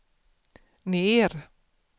ner